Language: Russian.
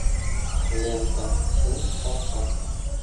лента сын полка